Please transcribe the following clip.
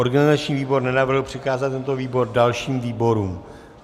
Organizační výbor nenavrhl přikázat tento výbor dalším výborům.